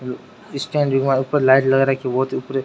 ऊपर लाइट लगा राखी है बहुत ही ऊपर --